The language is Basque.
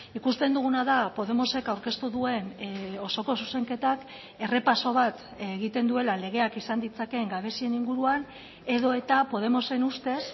ikusten duguna da podemosek aurkeztu duen osoko zuzenketak errepaso bat egiten duela legeak izan ditzakeen gabezien inguruan edota podemosen ustez